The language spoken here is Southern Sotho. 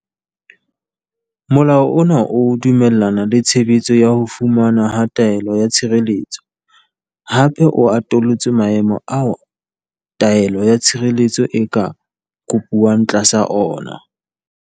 Molao ona o dumellana le tshebetso ya ho fumanwa ha taelo ya tshireletso, hape o atolotse maemo ao taelo ya tshireletso e ka kopuwang tlasa ona.